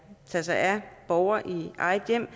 tage sig af borgere i eget hjem